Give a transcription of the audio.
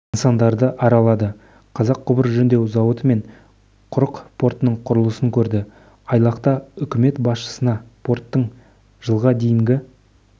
нысандарды аралады қазақ құбыр жөндеу зауыты мен құрық портының құрылысын көрді айлақта үкімет басшысына порттың жылға дейінгі